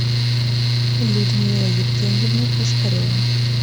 людмила евгеньевна пушкарева